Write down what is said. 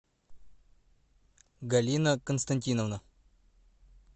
галина константиновна